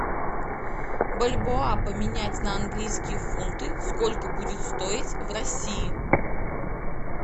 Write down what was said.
бальбоа поменять на английские фунты сколько будет стоить в россии